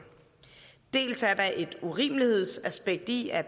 dels er der et urimelighedsaspekt i at